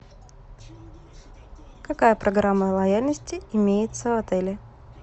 какая программа лояльности имеется в отеле